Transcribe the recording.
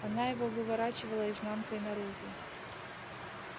она его выворачивала изнанкой наружу